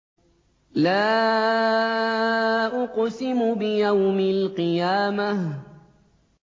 لَا أُقْسِمُ بِيَوْمِ الْقِيَامَةِ